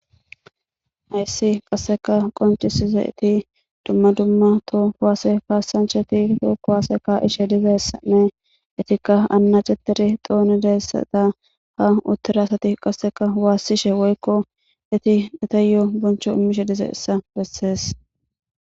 hayssi qasseka qoncisize ti dumma dumma to kuwaase kassancheti to kuwaaseka ishe dize ssanne itikka anna cetiri xooni deyssata ha uttira asati qasseka waassishe woykko iti etayo boncho immishe dize issa bessees